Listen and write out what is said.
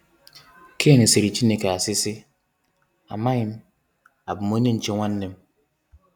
Cain sịrị Chineke asi si, “Amaghi m! Abu m onye nche nwannem?”